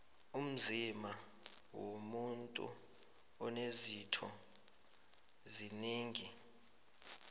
umzima womuntu unezitho zinengi